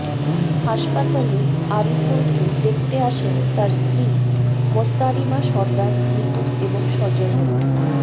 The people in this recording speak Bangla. হাসপাতালে আরিফুলকে দেখতে আসেন তার স্ত্রী মোস্তারিমা সরদার নিতু এবং স্বজনেরা